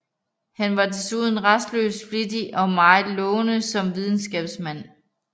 Han var desuden rastløs flittig og meget lovende som videnskabsmand